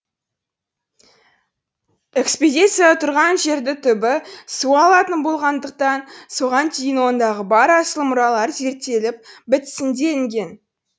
экспедиция тұрған жерді түбі су алатын болғандықтан соған дейін ондағы бар асыл мұралар зерттеліп бітсін делінген